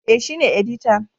E, shi ne editan.